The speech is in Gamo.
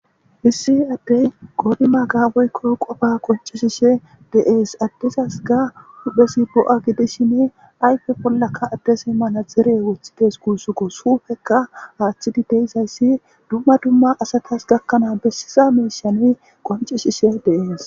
issi addey qodima gaawoykko qofa qoncishishe deees addesas ga hudhphesi bo7a gidishinne ayfe bollaka addesi mana dere woththides kuussuko suufekka aaththidi deysayssi dumma dumma asatas gakkanaa bessiza meeshan qoncishishe deees